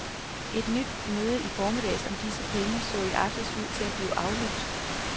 Et nyt møde i formiddag om disse penge så i aftes ud til at blive aflyst.